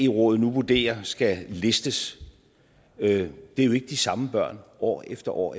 rådet nu vurderer skal listes ikke er de samme børn år efter år